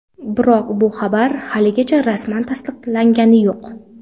Biroq bu xabar haligacha rasman tasdiqlangani yo‘q.